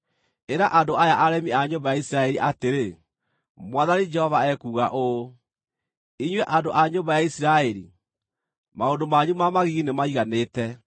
Ĩra andũ aya aremi a nyũmba ya Isiraeli atĩrĩ, ‘Mwathani Jehova ekuuga ũũ: Inyuĩ andũ a nyũmba ya Isiraeli, maũndũ manyu ma magigi nĩmaiganĩte!